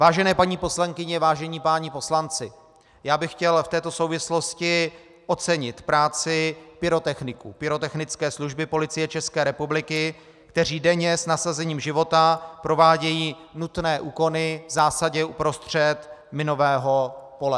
Vážené paní poslankyně, vážení páni poslanci, já bych chtěl v této souvislosti ocenit práci pyrotechniků, pyrotechnické služby Policie České republiky, kteří denně s nasazením života provádějí nutné úkony v zásadě uprostřed minového pole.